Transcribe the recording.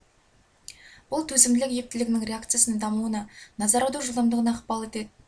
бұл төзімділік ептілігінің реакциясының дамуына назар аудару жылдамдығына ықпал етеді